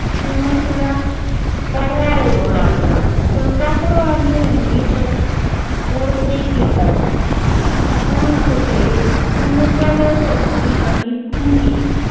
चीमुकल्या परवा उडूलागल्या. कुल्पत्र आणि रंगीत उडती कीटक फुल चुके चिमकुले पक्षी आणि मुंगी